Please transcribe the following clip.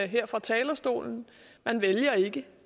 her fra talerstolen man vælger ikke